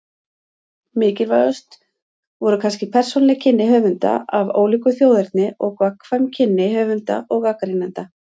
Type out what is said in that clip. Mikilvægust voru kannski persónuleg kynni höfunda af ólíku þjóðerni og gagnkvæm kynni höfunda og gagnrýnenda.